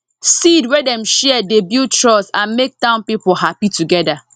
seed wey dem share dey build trust and make town people happy together